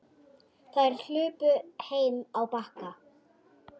Þær hlupu heim á Bakka.